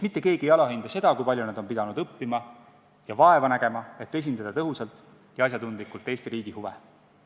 Mitte keegi meist ei alahinda seda, kui palju nad on pidanud õppima ja vaeva nägema, et esindada tõhusalt ja asjatundlikult Eesti riigi huve.